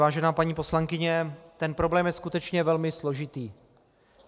Vážená paní poslankyně, ten problém je skutečně velmi složitý.